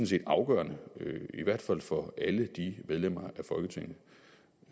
set afgørende i hvert fald for alle de medlemmer